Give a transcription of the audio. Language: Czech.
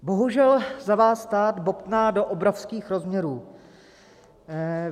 Bohužel za vás stát bobtná do obrovských rozměrů.